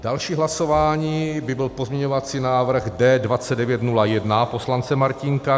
Další hlasování by byl pozměňovací návrh D 2901 poslance Martínka.